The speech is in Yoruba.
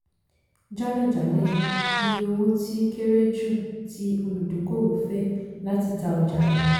jálẹ̀jálẹ̀ - iye owó tí kéré jù tí olùdókòwò fẹ́ láti ta ọjà rẹ̀.